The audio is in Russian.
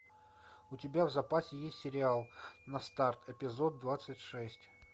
у тебя в запасе есть сериал на старт эпизод двадцать шесть